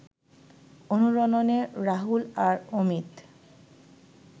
অনুরণনে রাহুল আর অমিত